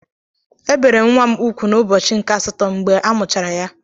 E bere nwa m ugwu n'ụbọchị nke asatọ mgbe amụchara ya.